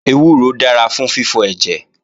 Ewúro dára fún fífọ ẹ̀jẹ̀